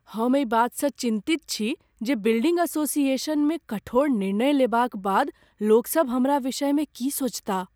हम एहि बातसँ चिन्तित छी जे बिल्डिङ्ग एसोसिएशनमे कठोर निर्णय लेबाक बाद लोकसभ हमरा विषयमे की सोचताह।